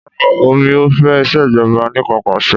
Rárá o mi ò fẹ́ ìṣèjọba anìkanpàṣẹ.